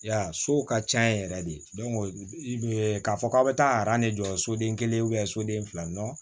Ya sow ka ca yen yɛrɛ de i bɛ k'a fɔ k'a bɛ taa aran de jɔ soden kelen soden fila